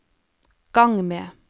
gang med